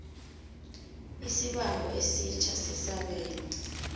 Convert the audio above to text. isibawo esitjha sesabelo